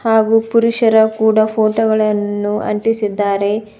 ಹಾಗೂ ಪುರುಷರ ಕೂಡ ಫೋಟೋ ಗಳನ್ನು ಅಂಟಿಸಿದಾರೆ.